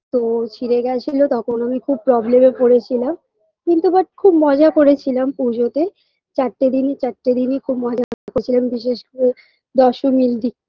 তো ছিঁড়ে গেছিল তখন আমি খুব problem -এ পড়েছিলাম কিন্তু but খুব মজা করেছিলাম পুজোতে চারটে দিনই চারটে দিনই খুব মজা করেছিলাম বিশেষ করে দশমীর দি